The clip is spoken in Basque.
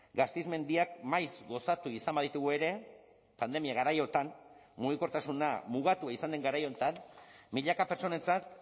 gasteiz mendiak maiz gozatu izan baditugu ere pandemia garaiotan mugikortasuna mugatua izan den garai honetan milaka pertsonentzat